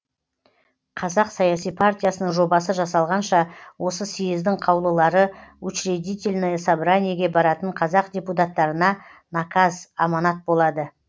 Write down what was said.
қазақ саяси партиясының жобасы жасалғанша осы сьездің қаулылары учредительное собраниеге баратын қазақ депутаттарына наказ аманат болады